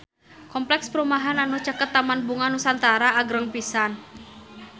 Kompleks perumahan anu caket Taman Bunga Nusantara agreng pisan